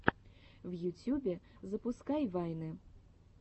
в ютюбе запускай вайны